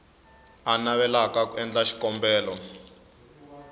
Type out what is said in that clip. a navelaka ku endla xikombelo